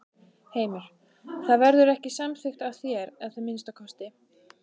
Heimir: Það verður ekki samþykkt af þér, að minnsta kosti?